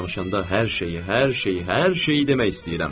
Sizlə danışanda hər şeyi, hər şeyi, hər şeyi demək istəyirəm.